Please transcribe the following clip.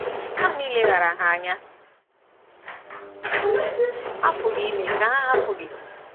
Nanị ileghara ha anya apụghị ime ka ha hapụ gị.